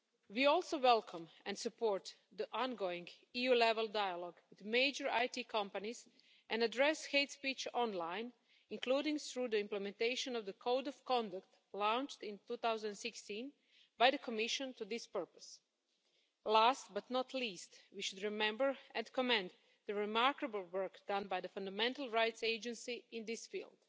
We also welcome and support the ongoing EU level dialogue with major IT companies, and address hate speech online, including through the implementation of the Code of Conduct launched in 2016 by the Commission for this purpose. Last but not least, we should remember and commend the remarkable work done by the Fundamental Rights Agency in this field.